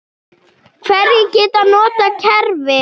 Hverjir geta notað kerfið?